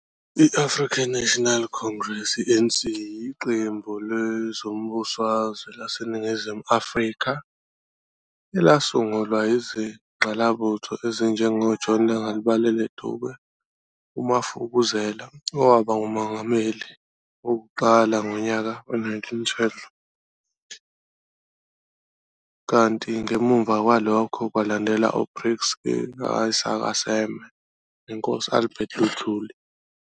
i-African National Congress, iANC, yiqembu lezombusazwe laseNingizimu Afrika elasungulwa yizingqalabutho ezinjengo John Langalibalele Dube, umafukuzela, owaba ngumongameli wokuqala ngonyaka we-1912, kanti ngemva kwalokho kwalandela uPixley ka Isaka Seme, Inkosi uAlbert Luthuli, nabanye.